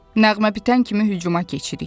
Nəğmə bitən kimi hücuma keçirik.